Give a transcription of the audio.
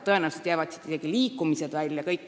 Tõenäoliselt jääksid siit isegi liikumised välja.